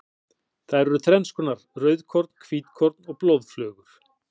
Þær eru þrennskonar, rauðkorn, hvítkorn og blóðflögur.